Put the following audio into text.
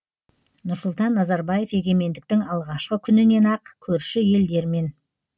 нұрсұлтан назарбаев егемендіктің алғашқы күнінен ақ көрші елдермен